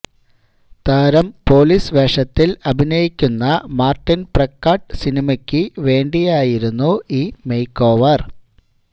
താരം പോലീസ് വേഷത്തിൽ അഭിനയിക്കുന്ന മാര്ട്ടിൻ പ്രക്കാട് സിനിമയ്ക്ക് വേണ്ടിയായിരുന്നു ഈ മേക്കോവര്